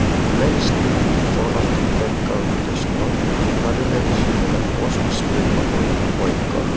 a man is cleaning the front of the black car with a another man is using a host spray bottle on the white car.